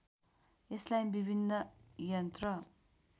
यसलाई विभिन्न यन्त्र